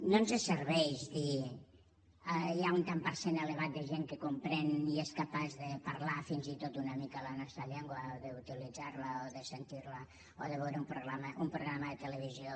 no ens serveix dir hi ha un tant per cent elevat de gent que comprèn i és capaç de parlar fins i tot una mica la nostra llengua d’utilitzar la o de sentir la o de veure un programa de televisió